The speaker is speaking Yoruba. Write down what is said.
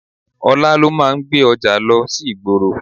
Ọlá ló máa ń gbé ọjà lọ sí ìgboro.